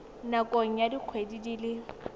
nakong ya dikgwedi di le